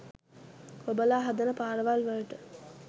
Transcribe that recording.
ඔබලා හදන පාරවල්වලට